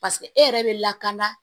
paseke e yɛrɛ be lakana